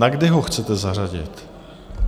Na kdy ho chcete zařadit?